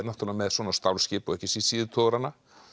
með svona stálskip og ekki síður síðutogarana